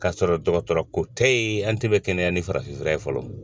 K'a sɔrɔ dɔgɔtɔrɔ ko tɛ ye an tɛ kɛnɛya ni farafin fura ye fɔlɔ